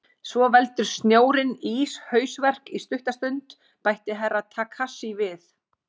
Svo veldur snjórinn íshausverk í stutta stund, bætti Herra Takashi við.